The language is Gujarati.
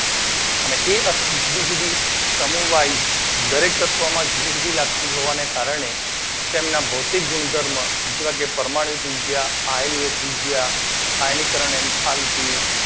અને એ જુદી જુદી સમૂહ વાઇઝ જુદી જુદી લાગતી હોવાના કારણે તેના ભૌતિક ગુણધર્મો જેવા કે પરમાણ્વીય ત્રિજ્યા, આયર્નીય ત્રિજ્યા, આયનીકરન એન્થાલ્પી તથા એ અથવા